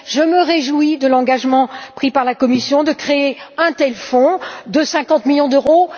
Je me réjouis de l'engagement pris par la Commission de créer un tel fonds de 50 millions d'euros.